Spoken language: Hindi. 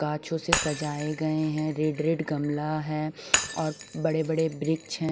गाँछो से सजाए गए हैं रेड रेड गमला है और बड़े बड़े वृक्ष हैं।